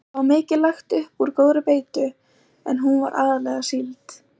Það var mikið lagt upp úr góðri beitu en hún var aðallega síld.